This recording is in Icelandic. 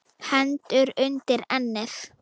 Hendur undir ennið.